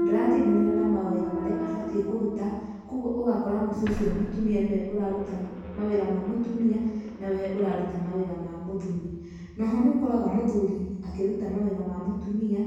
ndaratindanĩrĩra na mawĩra marĩa abatiĩ kũruta, kwoguo ũgakora mũciĩ ũcio mũtumia nĩwe ũraruta mawĩra ma mũtumia nowe ũraruta mawĩra ma mũthuri. Na oho nĩ ũkoraga mũthuri akĩruta mawĩra ma mũtumia